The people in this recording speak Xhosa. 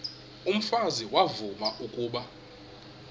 umfazi uyavuya kuba